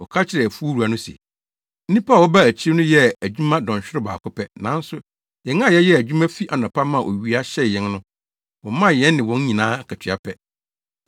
Wɔka kyerɛɛ afuw wura no se, ‘Nnipa a wɔbaa akyiri no yɛɛ adwuma dɔnhwerew baako pɛ, nanso yɛn a yɛyɛɛ adwuma fi anɔpa maa owia hyee yɛn no, womaa yɛne wɔn nyinaa akatua pɛ.’